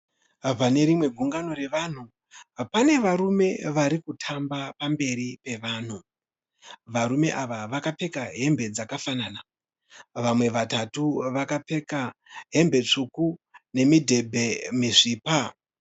Pane rimwe gungano revanhu pane varume vari kutamba pamberi pevanhu. Varume ava vakapfeka hembe dzakafanana. Vamwe vatatu vakapfeka hembe tsvuku nemidhebhe misvipa.